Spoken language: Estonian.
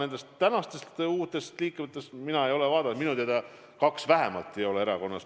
Mis puutub tänastesse uutesse liikmetesse, siis ma ei ole küll kontrollinud, aga minu teada vähemalt kaks neist ei ole üheski erakonnas.